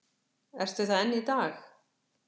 Ertu það enn í dag?